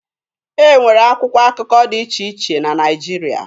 E nwere akwụkwọ akụkọ dị iche iche na Naịjirịa.